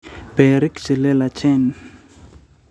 berik che leelachen